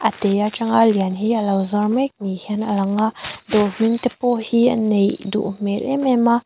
a te a tanga a lian hi a lo zuar mek ni hian a lang a dawr hming te pawh hi a neih duh hmel em em a.